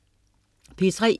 P3: